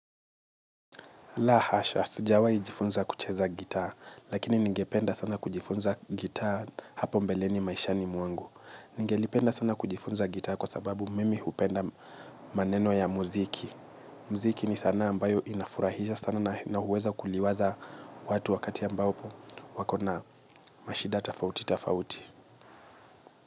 La hasha, sijawai jifunza kucheza gitaa, lakini ningependa sana kujifunza gitaa hapo mbeleni maishani mwangu. Ningelipenda sana kujifunza gitaa kwa sababu mimi hupenda maneno ya muziki. Mziki ni sanaa ambayo inafurahisha sana na huweza kuliwaza watu wakati ambapo wakona mashida tofauti tofauti.